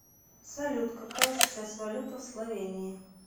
салют какая сейчас валюта в словении